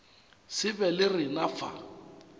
se be le rena fa